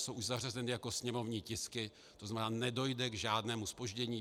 Jsou už zařazeny jako sněmovní tisky, to znamená, nedojde k žádnému zpoždění.